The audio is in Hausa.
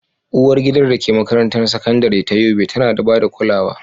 Uwargidan da ke makarantar sakandare ta Yobe tana ba da kulawa.